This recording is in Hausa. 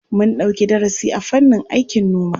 Mun ɗauki darasi a fannin aikin noma.